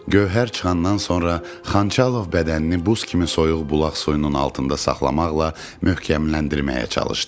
Gövhər çıxandan sonra Xançalov bədənini buz kimi soyuq bulaq suyunun altında saxlamaqla möhkəmləndirməyə çalışdı.